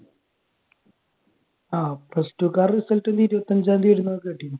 ആഹ് plus two കാരുടെ result ഇനി ഇരുപത്തിയഞ്ചാം തീയതി വരുമെന്ന് കേട്ടിരുന്നു.